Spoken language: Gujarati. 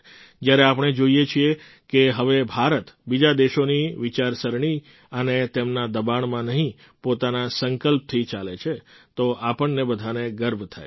જ્યારે આપણે જોઈએ છીએ કે હવે ભારત બીજા દેશોની વિચારસરણી અને તેમના દબાણમાં નહીં પોતાના સંકલ્પથી ચાલે છે તો આપણને બધાને ગર્વ થાય છે